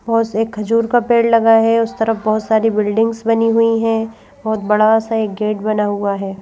बहोत से खजूर का पेड़ लगा है उस तरफ बहुत सारी बिल्डिंग्स बनी हुई हैं बहुत बड़ा सा एक गेट बना हुआ है।